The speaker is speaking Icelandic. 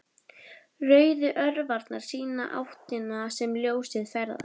Rauðu örvarnar sýna áttina sem ljósið ferðast.